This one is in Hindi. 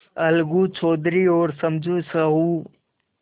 अलगू चौधरी और समझू साहु